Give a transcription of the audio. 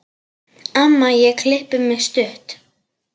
Amma ég klippi mig stutt.